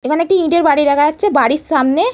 এখানে একটি ইটের বাড়ি দেখা যাচ্ছে বাড়ির সামনে।